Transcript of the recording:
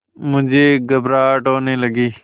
मुझे घबराहट होने लगी